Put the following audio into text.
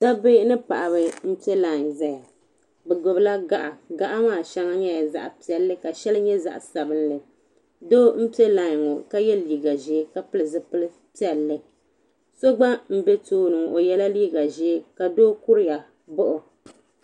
Dabba mini paɣaba n piɛ lai n ʒɛya bɛ gbibi la gaɣa gaɣa maa sheŋa nyɛla zaɣa piɛlli ka sheli nyɛ zaɣa sabinli doo n piɛ lai ŋɔ ka ye liiga piɛlli n pili zipil'piɛlli so gba m be tooni ŋɔ o yela liiga ʒee ka doo kuriya m baɣi o .